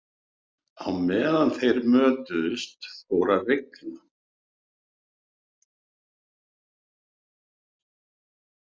Á meðan þeir mötuðust fór að rigna.